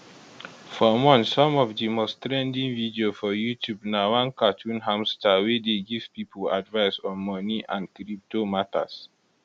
for months some of di most trending video for youtube na one cartoon hamster wey dey give pipo advice on money and crypto matters